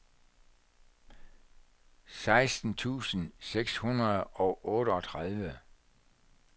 seksten tusind seks hundrede og otteogtredive